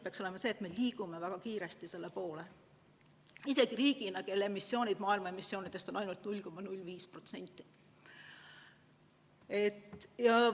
Peaks olema soov, et me liigume väga kiiresti selle poole, mis sest, et oleme riik, kelle emissioonid moodustavad maailma emissioonidest ainult 0,05%.